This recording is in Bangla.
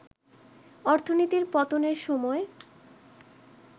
অর্থনীতির পতনের সময়